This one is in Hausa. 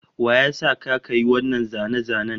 Wa ya sa ka ka yi wannan zane-zanen?